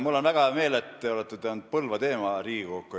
Mul on väga hea meel, et te olete toonud Põlva teema Riigikokku.